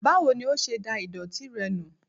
Báwo ní ọ ṣe dá ìdòtí rẹ nù?